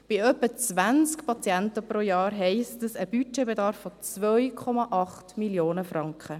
Bei etwa 20 Patienten pro Jahr heisst dies ein Budgetbedarf von 2,8 Mio. Franken.